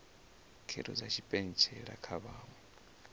khetho dza tshipentshela kha vhaṅwe